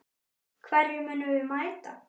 Hverjum munum við mæta??